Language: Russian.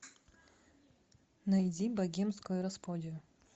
найди богемскую рапсодию